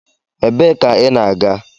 Ebee ka ị na-aga?